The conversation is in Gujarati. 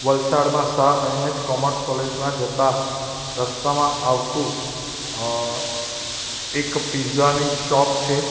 વલસાડમાં શાહ એન_એચ કોમર્સ કોલેજ માં જતા રસ્તામાં આવતું અં એક પિઝા ની શોપ છે.